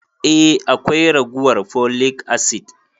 Eh akwai ragowan folic acid.